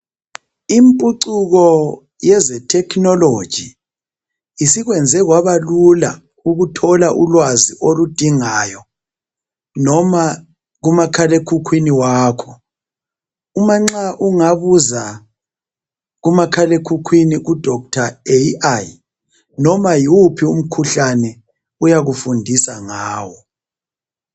Impucuko yezitechnology isikwenze kwabalula ukuthola ulwazi oludingayo noma kumakhala ekhukhwini wakho uma ungabuza kumakhala ekhukhwini kuDoctor Ai noma yiwuphi umkhuhlane uyakufundisa ngawo